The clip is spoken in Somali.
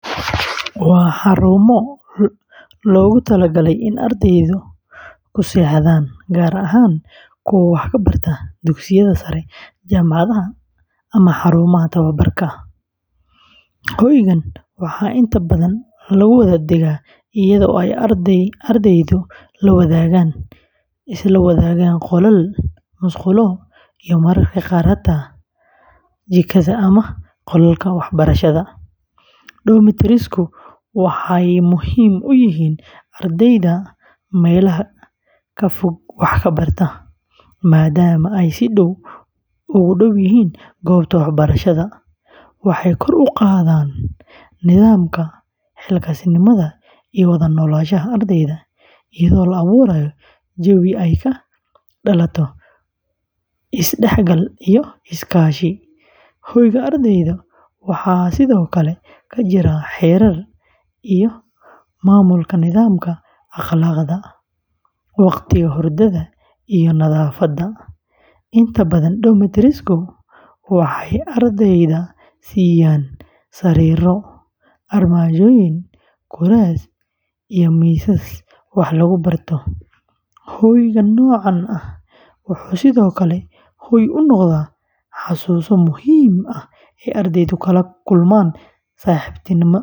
Waa xarumo loogu talagalay in ardaydu ku seexdaan, gaar ahaan kuwa wax ka barta dugsiyada sare, jaamacadaha, ama xarumaha tababarka. Hoygaan waxaa inta badan lagu wada degaa iyadoo ay ardaydu la wadaagaan qolal, musqulo, iyo mararka qaar jikada ama qolalka waxbarashada. Dormitories-ku waxay muhiim u yihiin ardayda meelaha ka fog wax ka barata, maadaama ay si dhow ugu dhow yihiin goobta waxbarashada. Waxay kor u qaadaan nidaamka, xilkasnimada, iyo wada noolaanshaha ardayda, iyadoo la abuurayo jawi ay ka dhalato is-dhexgal iyo iskaashi. Hoyga ardayda waxaa sidoo kale ka jira xeerar iyo maamulka nidaaminaya akhlaaqda, waqtiga hurdada, iyo nadaafadda. Inta badan dormitories-ku waxay ardayda siiyaan sariiro, armaajooyin, kuraas iyo miisas wax lagu barto. Hoyga noocan ah wuxuu sidoo kale hooy u noqdaa xusuuso muhiim ah oo ardaydu kala kulmaan saaxiibtinimo.